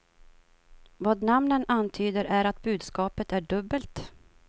Vad namnen antyder är att budskapet är dubbelt.